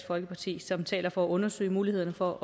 folkeparti som taler for at undersøge mulighederne for